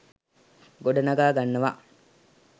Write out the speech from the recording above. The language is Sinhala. ගොඩනගා ගන්නවා